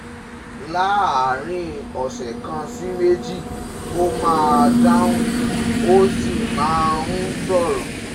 láàárín ọ̀sẹ̀ kan sí méjì ó máa dáhùn, ó sì máa ń sọ̀rọ̀